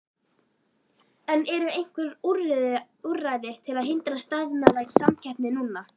En eru einhver úrræði til að hindra staðnaða samkeppni núna?